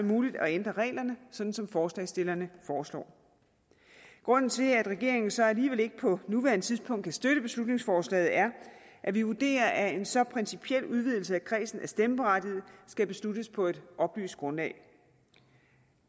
muligt at ændre reglerne sådan som forslagsstillerne foreslår grunden til at regeringen så ikke alligevel på nuværende tidspunkt kan støtte beslutningsforslaget er at vi vurderer at en så principiel udvidelse af kredsen af stemmeberettigede skal besluttes på et oplyst grundlag